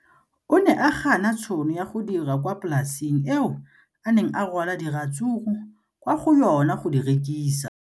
O ne a gana tšhono ya go dira kwa polaseng eo a neng rwala diratsuru kwa go yona go di rekisa.